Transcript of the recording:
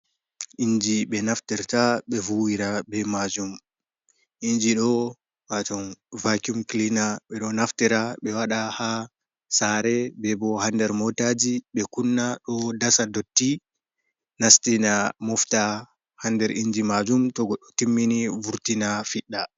Inji be naftirta be vuwira be majum. Inji do waton vakuum clina be do naftira be wada ha sare be bo ha nder motaji be kunna do dasa dotti nastina mofta ha nder inji majum to goddo timmini vurtina fidda.